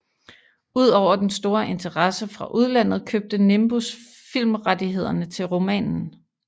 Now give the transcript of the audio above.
Ud over den store interesse fra udlandet købte Nimbus filmrettighederne til romanen